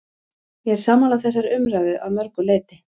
Ég er sammála þessari umræðu að mörgu leyti.